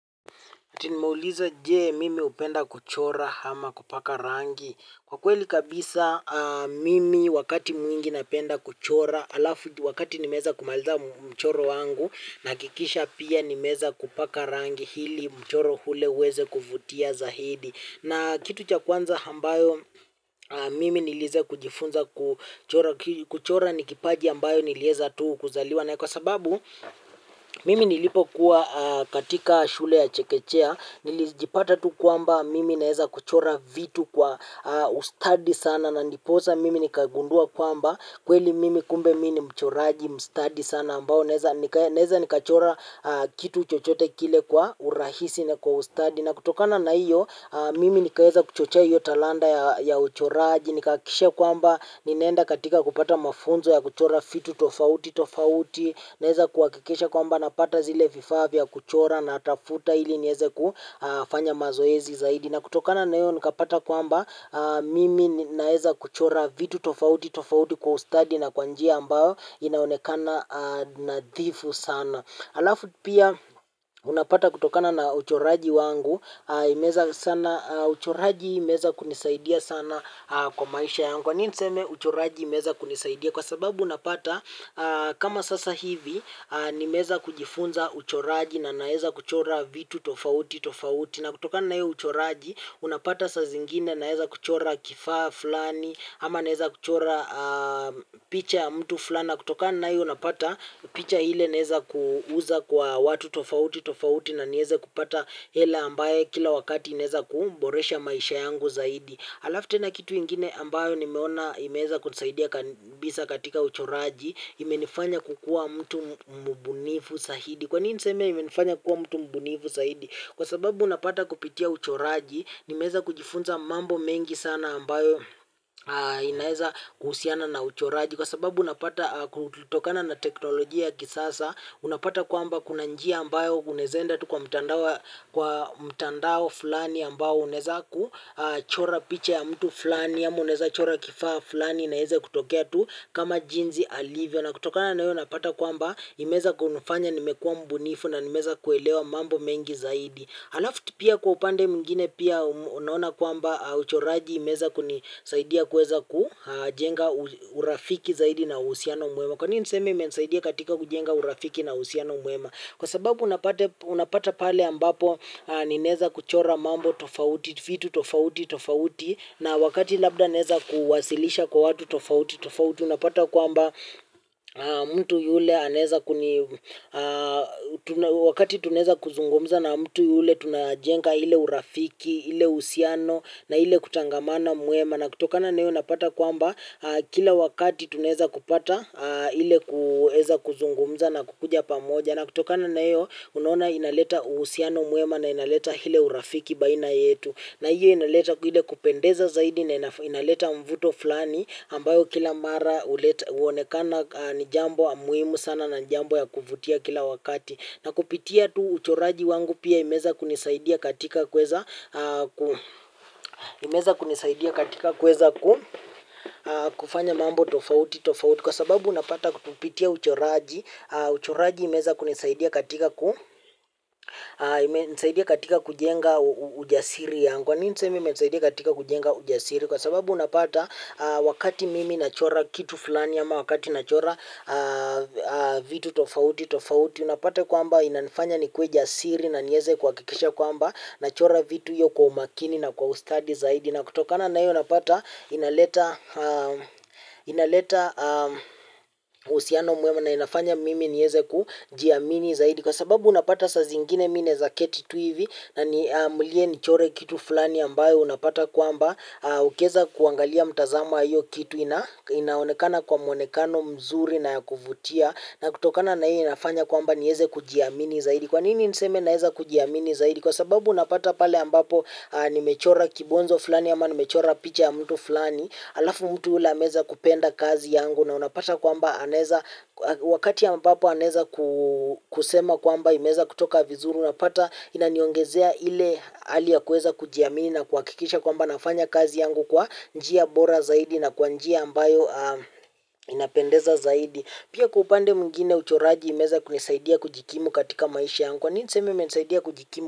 Ati nimeuliza je mimi upenda kuchora ama kupaka rangi? Kwa kweli kabisa mimi wakati mwingi napenda kuchora, alafu wakati nimeeza kumaliza mchoro wangu, nahakikisha pia nimeeza kupaka rangi ili mchoro ule uweze kuvutia zaidi. Na kitu cha kwanza ambayo mimi nilieza kujifunza kuchora, kuchora ni kipaji ambayo nilieza tu kuzaliwa naye kwa sababu mimi nilipo kuwa katika shule ya chekechea nilijipata tu kwamba mimi naeza kuchora vitu kwa ustadi sana na ndiposa mimi nikagundua kwamba kweli mimi kumbe mi ni mchoraji mstadi sana ambao naeza nikachora kitu chochote kile kwa urahisi na kwa ustadi na kutokana na hiyo, mimi nikaeza kuchochea hiyo talanta ya uchoraji, nikahakikisha kwamba, ninaenda katika kupata mafunzo ya kuchora vitu tofauti tofauti, naeza kuhakikisha kwamba, napata zile vifaa vya kuchora na kutafuta hili nieze kufanya mazoezi zaidi. Na kutokana na hiyo, nikapata kwamba, mimi naeza kuchora vitu tofauti tofauti kwa ustadi na kwa njia ambao inaonekana nadhifu sana. Alafu pia unapata kutokana na uchoraji wangu, imeeza sana, uchoraji imeeza kunisaidia sana kwa maisha yangu. Kwa nini niseme uchoraji imeeza kunisaidia kwa sababu unapata kama sasa hivi, nimeeza kujifunza uchoraji na naeza kuchora vitu tofauti tofauti. Na kutokana na hiyo uchoraji, unapata saa zingine naeza kuchora kifaa fulani, ama naeza kuchora picha ya mtu fulani. Na kutoka naiyo unapata, picha ile naeza kuuza kwa watu tofauti, tofauti na nieze kupata hela ambaye kila wakati inaeza kuboresha maisha yangu zaidi. Alafu tena kitu ingine ambayo nimeona imeeza kunisaidia kabisa katika uchoraji, imenifanya kukuwa mtu mbunifu zaidi. Kwa nini niseme imenifanya kukuwa mtu mbunifu zaidi? Kwa sababu unapata kupitia uchoraji, nimeeza kujifunza mambo mengi sana ambayo inaeza kuhusiana na uchoraji. Kwa sababu unapata kutokana na teknolojia ya kisasa, unapata kwamba kuna njia ambayo unaeza enda tu kwa mtandao fulani ambayo unaeza kuchora picha ya mtu fulani, ama unaeza chora kifaa fulani na ieze kutokea tu kama jinsi alivyo. Na kutokana na hiyo unapata kwamba imeeza kunifanya nimekuwa mbunifu na nimeeza kuelewa mambo mengi zaidi. Alafu tena pia kwa upande mwingine pia unaona kwamba uchoraji imeeza kunisaidia kuweza kujenga urafiki zaidi na uhusiano mwema. Kwa nini niseme imenisaidia katika kujenga urafiki na uhusiano mwema. Kwa sababu unapata pale ambapo ni naeza kuchora mambo tofauti, vitu tofauti, tofauti. Na wakati labda neza kuwasilisha kwa watu tofauti, tofauti. Unapata kwamba mtu yule anaeza wakati tunaeza kuzungumza na mtu yule tunajenga ile urafiki, ile uhusiano na ile kutangamana na kutokana na hiyo napata kwamba kila wakati tunaeza kupata ile kuweza kuzungumza na kukuja pamoja. Na kutokana na hiyo unaona inaleta uhusiano mwema na inaleta ile urafiki baina yetu. Na hiyo inaleta ile kupendeza zaidi na inaleta mvuto fulani ambayo kila mara uonekana ni jambo muhimu sana na jambo ya kuvutia kila wakati. Na kupitia tu uchoraji wangu pia imeeza kunisaidia katika kuweza kufanya mambo tofauti tofauti. Kwa sababu unapata kupitia uchoraji, uchoraji imeeza kunisaidia katika kujenga ujasiri yangu. Kwa nini niseme imenisaidia katika kujenga ujasiri kwa sababu unapata wakati mimi nachora kitu fulani ama wakati nachora vitu tofauti tofauti unapata kwamba inanifanya nikuwe jasiri na nieze kuhakikisha kwamba nachora vitu hiyo kwa umakini na kwa ustadi zaidi. Na kutokana na hiyo napata inaleta uhusiano mwema na inafanya mimi nieze kujiamini zaidi kwa sababu unapata saa zingine mi naeza keti tu hivi niamulie nichore kitu fulani ambayo unapata kwamba ukieza kuangalia mtazamo wa hiyo kitu inaonekana kwa mwonekano mzuri na ya kuvutia na kutokana na hiyo inafanya kwamba nieze kujiamini zaidi kwa nini niseme naeza kujiamini zaidi kwa sababu unapata pale ambapo nimechora kibonzo fulani ama nimechora picha ya mtu fulani alafu mtu ule ameeza kupenda kazi yangu na unapata kwamba wakati ambapo ameeza kusema kwamba imeeza kutoka vizuri unapata inaniongezea ile hali ya kuweza kujiamini na kuhakikisha kwamba nafanya kazi yangu kwa njia bora zaidi na kwa njia ambayo inapendeza zaidi. Pia kwa upande mwingine uchoraji imeweza kunisaidia kujikimu katika maisha yangu. Kwa nini niseme imenisaidia kujikimu.